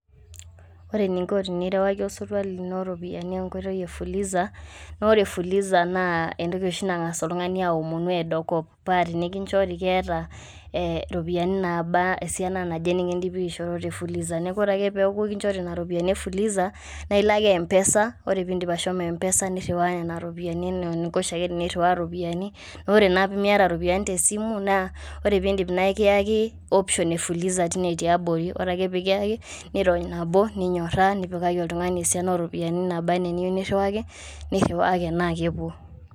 Ore eningo tenirewaki osotua lino iropiani enkoitoi efuliza na ore fuliza na entoki osho nangas oltungani aomonu eton eado enkop, paa tenikinchori keeta e iropiani naba esiana naje nikindimi aisho tefuliza niaku ore ake piaku enkinchore nena ropiani e fuliza na ilo ake mpesa ore pindim ashomo mpesa niriwa iropiani ena eningo teniriwa oshiake iropiani na ore naa tenimiata iropiani tesimu na ore pindim na ikiyaki option efuliza tine tiabori ore ake pekiyaki nirony nabo. ninyora nipikaki oltungani esiana oropiani nabana niyieu niriwaki nirawaki na kepuo,